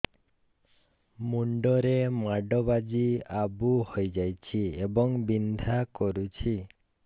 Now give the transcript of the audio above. ମୁଣ୍ଡ ରେ ମାଡ ବାଜି ଆବୁ ହଇଯାଇଛି ଏବଂ ବିନ୍ଧା କରୁଛି